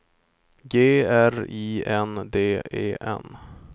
G R I N D E N